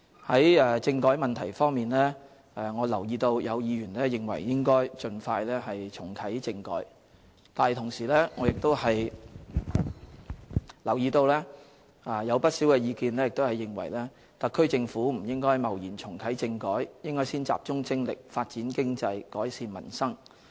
在政改問題方面，我留意到有議員認為應該盡快重啟政改，但同時，我亦留意到有不少意見認為特區政府不應貿然重啟政改，應先集中精力發展經濟、改善民生。